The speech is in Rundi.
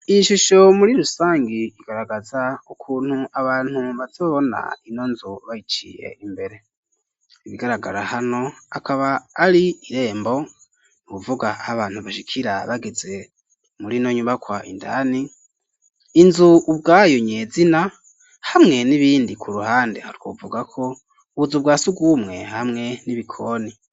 Iyishusho muri rusangi igaragaza ukuntu abantu bazobona inonzu bayiciye imbere ibigaragara hano akaba ari irembo ni ukuvuga ahabantu bashikira bageze murino nyumakwa indani inzu ubwayo nyezina hamwe n'ibindi ku ruhande aha twovuga ko ubuzu bwasugumwe hamwe n'ibikoni.